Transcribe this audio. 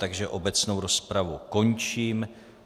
Takže obecnou rozpravu končím.